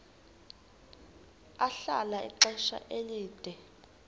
ahlala ixesha elide